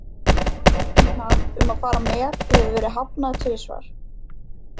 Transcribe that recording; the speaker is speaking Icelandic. Boði hennar um að fara með hefur verið hafnað tvisvar.